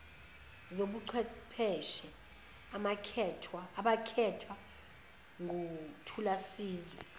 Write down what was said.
zobuchwepheshe abakhethwa nguthulasizwe